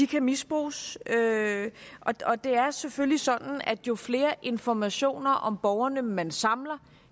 kan misbruges det er selvfølgelig sådan at jo flere informationer om borgerne man samler